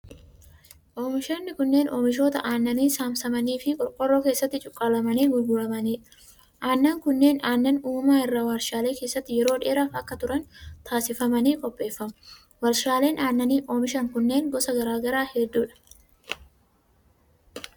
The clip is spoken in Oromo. Oomishoonni kunneen oomishoota aannanii saamsamanii fi qorqoorroo keessatti cuqqaalamanii gurguramanii dha. Aannan kunneen aannan uumamaa irraa warshaalee keessatti yeroo dheeraaf akka turan taasifamanii qopheeffamu. Warshaaleen aannan oomishan kunneen gosa garaa garaa hedduu dha.